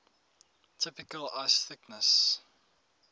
typical ice thickness